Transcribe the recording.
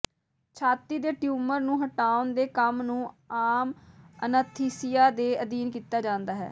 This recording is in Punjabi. ਛਾਤੀ ਦੇ ਟਿਊਮਰ ਨੂੰ ਹਟਾਉਣ ਦੇ ਕੰਮ ਨੂੰ ਆਮ ਅਨੱਸਥੀਸੀਆ ਦੇ ਅਧੀਨ ਕੀਤਾ ਜਾਂਦਾ ਹੈ